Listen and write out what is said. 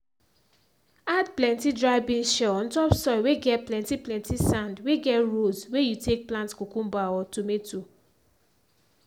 add plenty dry beans shell on top soil whey get plenty plenty sand whey get rows whey you take plant cucumber or tomato